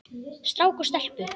Strák og stelpu.